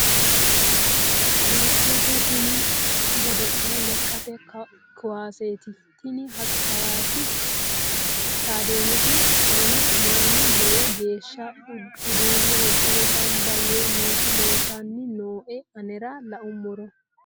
godo'lete tini godo'le lekkate kuwaseti tini hawasi stayideemeti qoleno mannu lowo geeshsha uduunne udire gambba yee nooti leeltanni nooe anera la'ummoro